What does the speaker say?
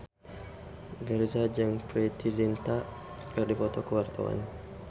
Virzha jeung Preity Zinta keur dipoto ku wartawan